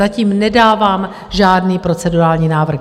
Zatím nedávám žádný procedurální návrh.